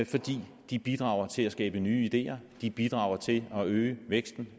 fordi de bidrager til at skabe nye ideer de bidrager til at øge væksten